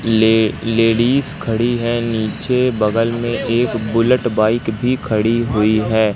Ladies खड़ी है नीचे बगल में एक बुलेट बाइक भी खड़ी हुईं हैं।